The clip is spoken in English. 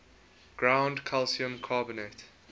ground calcium carbonate